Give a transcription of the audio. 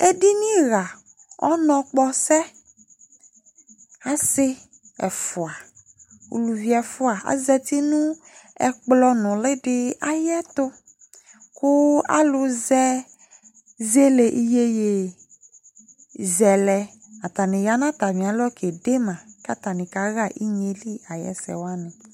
Ediniɣa ɔnɔkpɔsɛ Asɩ ɛfʋa, uluvi ɛfʋa azati nʋ ɛkplɔ nʋlɩ dɩ ayɛtʋ kʋ alʋzɛ zele iyeyezɛlɛ, atanɩ ya nʋ atamɩɛtʋ kede ma kʋ atanɩ kaɣa inye yɛ li ayʋ ɛsɛ wanɩ